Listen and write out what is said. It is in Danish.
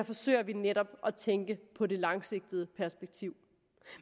forsøger vi netop at tænke på det langsigtede perspektiv